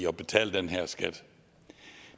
at betale den her skat